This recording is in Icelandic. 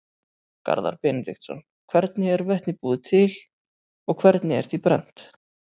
Garðar Benediktsson: Hvernig er vetni búið til og hvernig er því brennt?